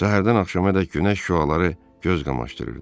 Səhərdən axşamadək günəş şüaları göz qamaşdırırdı.